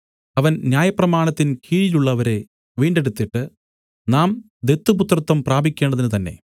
അവൻ ന്യായപ്രമാണത്തിൻ കീഴിലുള്ളവരെ വീണ്ടെടുത്തിട്ട് നാം ദത്തുപുത്രത്വം പ്രാപിക്കേണ്ടതിനു തന്നെ